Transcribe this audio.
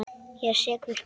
Ég er sekur.